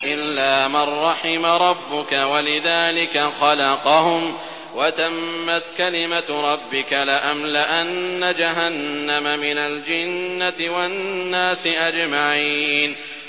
إِلَّا مَن رَّحِمَ رَبُّكَ ۚ وَلِذَٰلِكَ خَلَقَهُمْ ۗ وَتَمَّتْ كَلِمَةُ رَبِّكَ لَأَمْلَأَنَّ جَهَنَّمَ مِنَ الْجِنَّةِ وَالنَّاسِ أَجْمَعِينَ